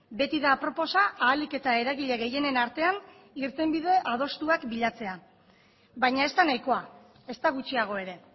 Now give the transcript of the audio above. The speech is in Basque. beti da aproposa ahalik eta eragile gehienen artean irtenbide adostuak bilatzea baina ez da nahikoa ezta gutxiago ere